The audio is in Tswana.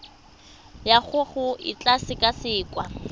ya gago e tla sekasekwa